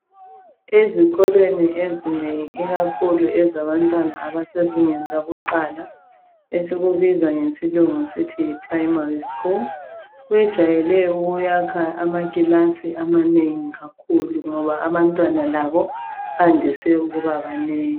Ezikolweni ezinengi ikakhulu ezabantwana abasezingeni lakuqala, esikubiza ngesilungu sithi yi primary school. Kwejayele ukuyakhwa amakilasi amanengi kakhulu ngoba abantwana labo bandise ukuba banengi.